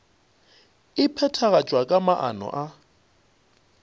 e phethagatšwa ka maano a